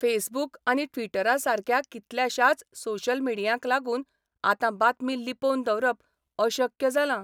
Facebook आनी ट्विटरसारक्या कितल्याशाच सोशल मिडियांक लागून आतां बातमी लिपोवन दवरप अशक्य जालां.